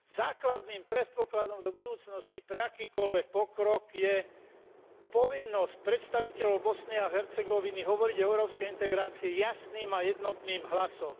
Základným predpokladom do budúcnosti pre akýkoľvek pokrok je povinnosť predstaviteľov Bosny a Hercegoviny hovoriť o európskej integrácii jasným a jednotným hlasom.